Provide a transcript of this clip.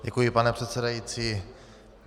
Děkuji, pane předsedající.